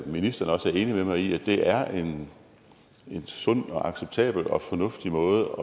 ministeren også er enig med mig i at det er en sund acceptabel og fornuftig måde